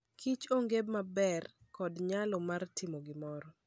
Kich onge maber kod nyalo mar timo gimoro